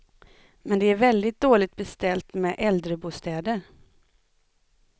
Men det är väldigt dåligt beställt med äldrebostäder.